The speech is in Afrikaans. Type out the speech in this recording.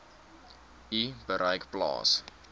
u bereik plaas